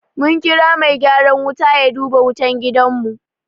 Mun kira mai gyaran wuta ya duba wutan gidanmu.